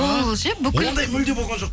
ол ше бүкіл ондай мүлдем болған жоқ